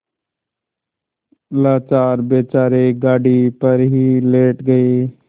लाचार बेचारे गाड़ी पर ही लेट गये